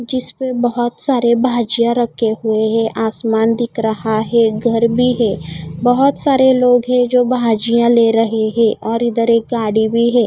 जिसपे बहोत सारे भजिया रखे हुए हैं आसमान दिख रहा है घर भी है बहोत सारे लोग हैं जो भजिया ले रहे हैं और इधर एक गाड़ी भी हैं।